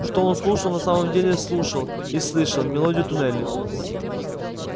что он слушал на самом деле слушал и слышал мелодию туннелей